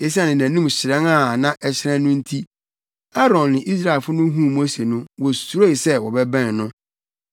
Esiane nʼanim hyerɛn a na ɛhyerɛn no nti, Aaron ne Israelfo no huu Mose no, wosuroe sɛ wɔbɛbɛn no.